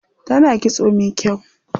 Tana kitso mai kyau.